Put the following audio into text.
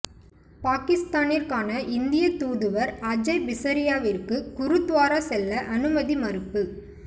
பாகிஸ்தானிற்கான இந்திய தூதுவர் அஜய் பிஸரியாவிற்கு குருத்வாரா செல்ல அனுமதி மறுப்பு